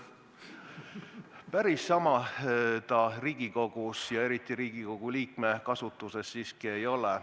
Päris sama ta Riigikogus ja eriti Riigikogu liikme keelekasutuses siiski ei ole.